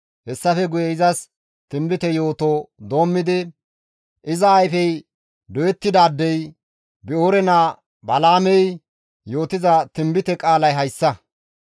Hessafe guye izas tinbite yooto doommidi, «Iza ayfey doyettidaadey, Bi7oore naa Balaamey yootiza tinbite qaalay hayssa;